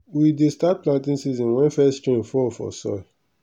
we dey start planting season wen first rain fall for soil.